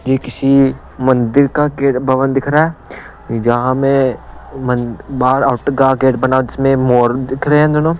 ये किसी मंदिर का गेट भवन दिख रहा है जहां में म बाहर आउट का गेट बना जिसमें मोर दिख रहे हैं दोनों--